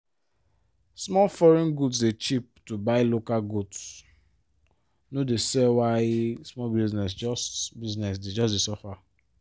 because foreign good dey cheap to buy local goods no dey sell why small business just business just dey suffer.